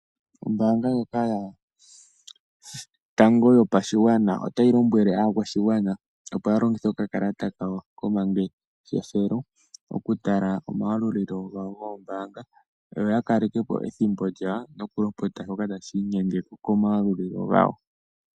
Ombaanga ndjoka yotango yopashigwana otayi lombwele aakwashigwana, opo yalongithe okakalata kawo komangeshefelo okutala omayalulilo gawo goombaanga. Yo yakaleke po ethimbo lyawo noku lopota shoka tashi inyenge komayalulilo gawo.